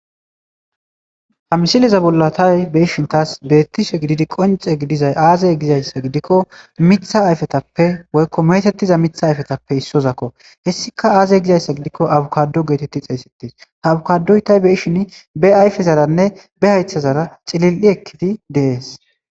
Ha misileza bollo taasi beettishe qoncce gididay aazee gidikko miththa ayfetappe woykko meetettiza miththa ayfetappe issozakko. Hessika aaze geetettiko abikaaddo geetettizaysako , abikaaddoy tayi be7ishini bey ayfezaranne be haythezara cili7i ekkidi de7ees.